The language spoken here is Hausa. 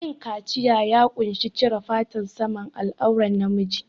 Yin kaciya ya ƙunshi cire fatan saman al'auran na miji